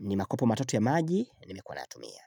ni makopo matatu ya maji, nimekuwa nayatumia.